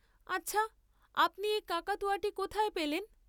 আচ্ছা আপনি এ কাকাতুয়াটি কোথায় পেলেন?